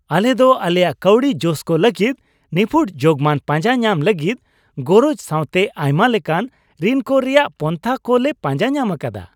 ᱟᱞᱮ ᱫᱚ ᱟᱞᱮᱭᱟᱜ ᱠᱟᱹᱣᱰᱤ ᱡᱚᱥᱠᱚ ᱞᱟᱹᱜᱤᱫ ᱱᱤᱯᱷᱩᱴ ᱡᱳᱜᱢᱟᱱ ᱯᱟᱸᱡᱟ ᱧᱟᱢ ᱞᱟᱹᱜᱤᱫ ᱜᱚᱨᱚᱡ ᱥᱟᱶᱛᱮ ᱟᱭᱢᱟ ᱞᱮᱠᱟᱱ ᱨᱤᱱ ᱠᱚ ᱨᱮᱭᱟᱜ ᱯᱟᱱᱛᱷᱟ ᱠᱚ ᱞᱮ ᱯᱟᱸᱡᱟ ᱧᱟᱢ ᱟᱠᱟᱫᱟ ᱾